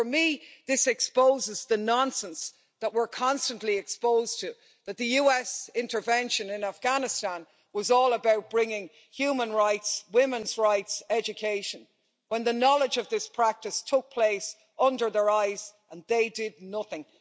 So for me, this exposes the nonsense that we're constantly exposed to that the US intervention in Afghanistan was all about bringing human rights, women's rights, education, when the knowledge of this practice took place under their eyes and they did nothing.